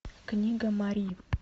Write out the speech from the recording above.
книга мари